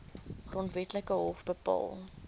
grondwetlike hof bepaal